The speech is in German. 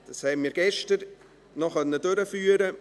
Das konnten wir gestern noch durchführen.